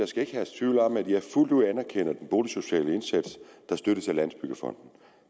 skal herske tvivl om at jeg fuldt ud anerkender den boligsociale indsats der støttes af landsbyggefonden